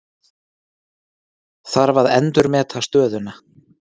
Þarf að endurmeta stöðuna